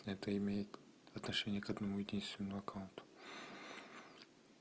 это имеет отношение к одному единственному аккаунту